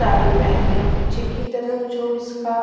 साड़ी पेहनी है पीछे कि तरफ जो इसका--